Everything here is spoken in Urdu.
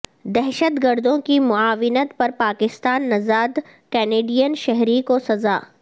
دہشت گردوں کی معاونت پر پاکستانی نژاد کنیڈین شہری کو سزا